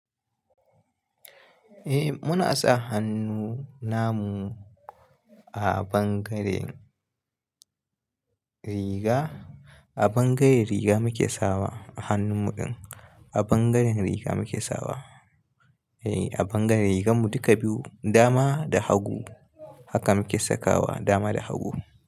Eh muna sa hannu namu a bangaren riga, a bangaren riga muke sawa hannun muɗin, a bangaren ri a bangaren riganmu duka biyu dama da hagu haka muke sakawa dama da hagu.